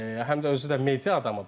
Yəni həm də özü də media adamıdır.